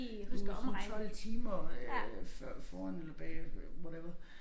Du sådan 12 timer øh før foran eller bagefter whatever